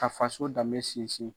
Ka faso danbe sinsin.